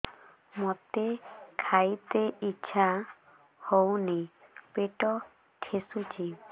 ମୋତେ ଖାଇତେ ଇଚ୍ଛା ହଉନି ପେଟ ଠେସୁଛି